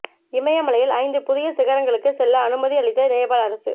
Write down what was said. இமயமலையில் ஐந்து புதிய சிகரங்களுக்கு செல்ல அனுமதி அளித்த நேபாள் அரசு